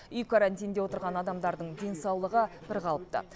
үй карантинінде отырған адамдардың денсаулығы бірқалыпты